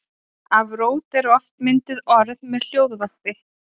Af rót eru oft mynduð orð með hljóðvarpi.